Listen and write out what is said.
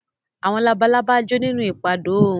Àwọn labalábá jó nínú ìpadó oòrùn